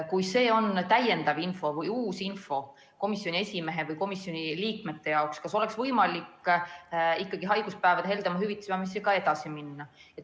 Kui see on täiendav või uus info komisjoni esimehe või komisjoni liikmete jaoks, siis kas oleks võimalik ikkagi haiguspäevade heldema hüvitamise teemaga edasi minna?